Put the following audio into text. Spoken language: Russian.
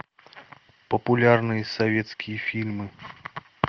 популярные советские фильмы